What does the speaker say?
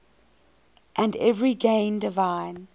and every gain divine